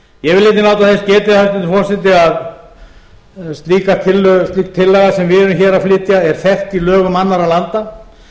í þjóðfélaginu ég vil einnig láta þess getið hæstvirtur forseti að slík tillaga sem við erum hér að flytja er þekkt í lögum annarra landa